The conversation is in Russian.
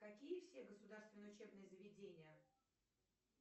какие все государственные учебные заведения